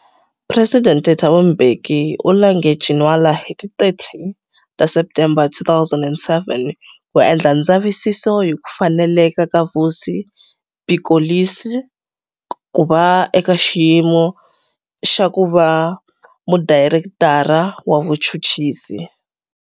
Presidente Thabo Mbeki u lange Ginwala hi ti 30 ta Septembere 2007 ku endla ndzavisiso hi ku faneleka ka Vusi Pikoli's ku va eka xiyimo xa ku va Mudayirektara wa Vuchuchisi